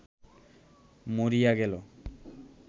মরিয়া গেল